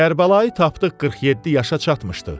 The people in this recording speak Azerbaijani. Kərbəlayı tapdıq 47 yaşına çatmışdı.